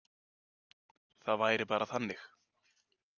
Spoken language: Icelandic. Það væri bara þannig.